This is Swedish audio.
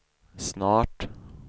snart